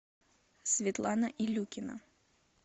светлана илюкина